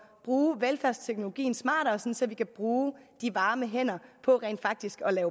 bruge velfærdsteknologien smartere så vi kan bruge de varme hænder på rent faktisk at